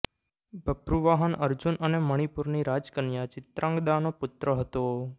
બભ્રુવાહન અર્જુન અને મણિપુરની રાજકન્યા ચિત્રાંગદાનો પુત્ર હતો